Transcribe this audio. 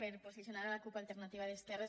per posicionar la cup · alternativa d’es·querres